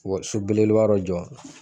so belebeleba dɔ jɔ.